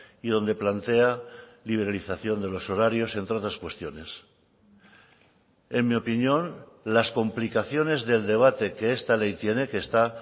y donde plantea liberalización de los horarios entre otras cuestiones en mi opinión las complicaciones del debate que esta ley tiene que está